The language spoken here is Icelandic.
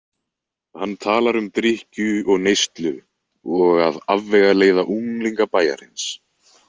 Hann talar um drykkju og neyslu og að afvegaleiða unglinga bæjarins.